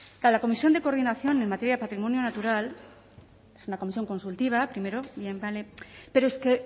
claro la comisión de coordinación en materia de patrimonio natural es una comisión consultiva primero bien vale pero es que